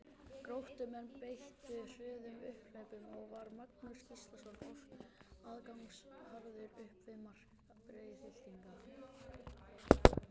Gróttumenn beittu hröðum upphlaupum og var Magnús Gíslason oft aðgangsharður upp við mark Breiðhyltinga.